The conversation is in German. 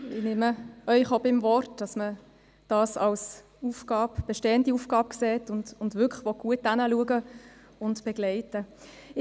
Ich nehme Sie auch beim Wort, dass man das als bestehende Aufgabe versteht und wirklich gut hinschauen und begleiten will.